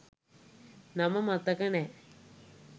නම මතක නෑ